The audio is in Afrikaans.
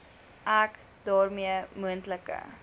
ek daarmee moontlike